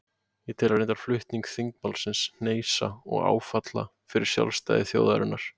Ég tel reyndar flutning þingmálsins hneisu og áfall fyrir sjálfstæði þjóðarinnar.